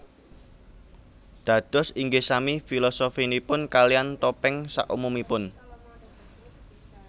Dados ingih sami filosofinipun kalian topeng sak umumipun